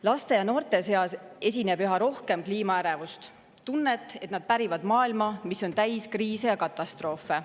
Laste ja noorte seas esineb üha rohkem kliimaärevust, tunnet, et nad pärivad maailma, mis on täis kriise ja katastroofe.